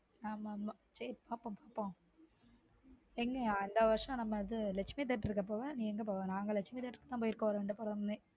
ஆமா ஆமா சேரி பாப்போம் பாப்போம எங்க அந்த வருஷம் நம்ம லட்சுமி theater போவ நீ என்னக போவ நாங்க லட்சுமி theater கு தான் போயிருகோம் ரெண்டு பேருமே